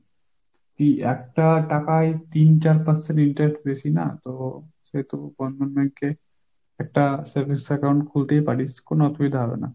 একটা টাকায় তিন চার percent interest বেশি না, তো সে তো বন্ধন bankএ একটা savings account খুলতেই পারিস কোন অসুবিধা হবে না।